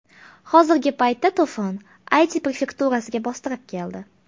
Hozirgi paytda to‘fon Ayti prefekturasiga bostirib keldi.